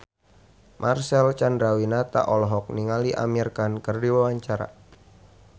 Marcel Chandrawinata olohok ningali Amir Khan keur diwawancara